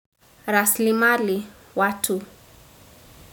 Raslimali watu.